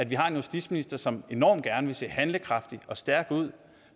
vi har en justitsminister som enormt gerne vil se handlekraftig og stærk ud